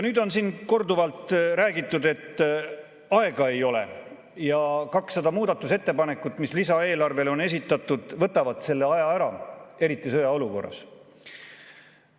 " Nüüd on siin korduvalt räägitud, et aega ei ole ja 200 muudatusettepanekut, mis lisaeelarve kohta on esitatud, võtavad selle aja ära, eriti sõjaolukorras.